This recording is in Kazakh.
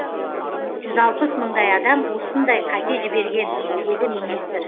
жүз алпыс мыңдай адам осындай қате жіберген деді министр